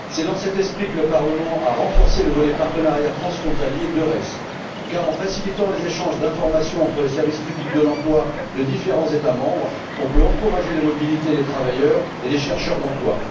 C'est dans cet esprit que le Parlement a renforcé le volet partenariat transfrontalier d'EURES, car en facilitant les échanges d'informations entre les services publics de l'emploi de différents États membres, on peut encourager la mobilité des travailleurs et des demandeurs d'emploi.